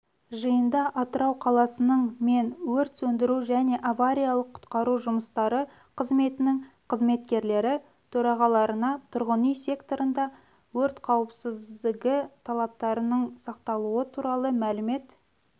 жиында атырау қаласының мен өрт сөндіру және авариялық-құтқару жұмыстары қызметінің қызметкерлері төрағаларына тұрғын үй секторында өрт қауіпсіздігі талаптарының сақталуы туралы мәлімет